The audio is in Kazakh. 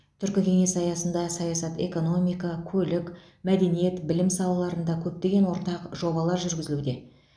түркі кеңесі аясында саясат экономика көлік мәдениет білім салаларында көптеген ортақ жобалар жүргізілуде